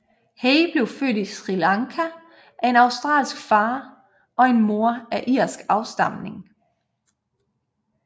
Hay blev født i Sri Lanka af en australsk far og en mor af irsk afstamning